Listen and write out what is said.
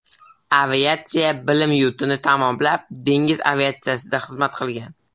Aviatsiya bilim yurtini tamomlab, dengiz aviatsiyasida xizmat qilgan.